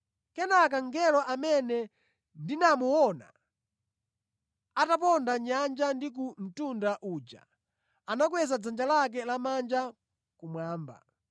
Kenaka mngelo amene ndinamuona ataponda mʼnyanja ndi ku mtunda uja, anakweza dzanja lake lamanja kumwamba.